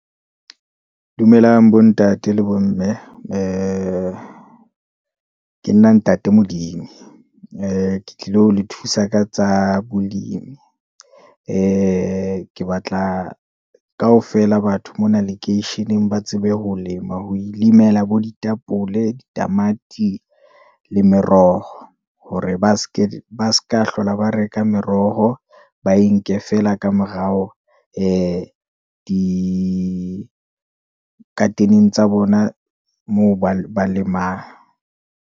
Dumelang bo ntate le bomme, ee ke nna ntate Modimo, ee ke tlilo le thusa ka tsa bolimi, ee ke batla kaofela batho mona lekeisheneng ba tsebe ho lema, ho ilemela bo ditapole, ditamati, le meroho. Hore ba seka hlola ba re ka meroho, ba e nke feela ka morao, ee di-garden-e tsa bona moo ba lemang.